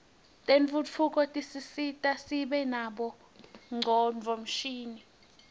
tentfutfuko tisisita sibe nabo ngcondvomshini